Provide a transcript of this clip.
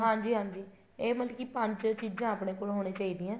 ਹਾਂਜੀ ਹਾਂਜੀ ਇਹ ਮਤਲਬ ਕੀ ਪੰਜ ਚੀਜ਼ਾਂ ਆਪਣੇ ਕੋਲ ਹੋਣੀਆਂ ਚਾਹੀਦੀ ਏ